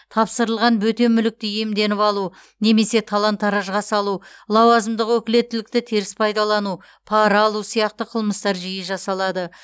тапсырылған бөтен мүлікті иемденіп алу немесе талан таражға салу лауазымдық өкілеттілікті теріс пайдалану пара алу сияқты қылмыстар жиі жасалады